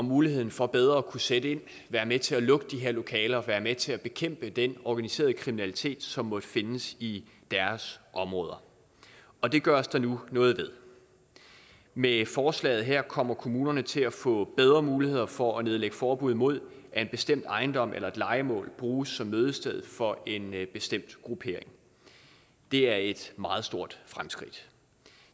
mulighed for bedre at kunne sætte ind være med til at lukke de her lokaler og være med til at bekæmpe den organiserede kriminalitet som måtte findes i deres områder og det gøres der nu noget ved med forslaget her kommer kommunerne til at få bedre muligheder for at nedlægge forbud imod at en bestemt ejendom eller et lejemål bruges som mødested for en bestemt gruppering det er et meget stort fremskridt